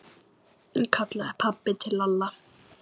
kallaði pabbi til Lalla.